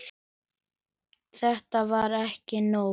Þetta var ekki nógu gott.